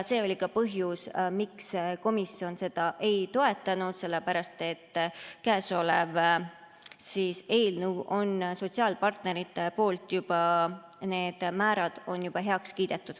See oli ka põhjus, miks komisjon seda ei toetanud, sellepärast et need määrad on sotsiaalpartneritel juba heaks kiidetud.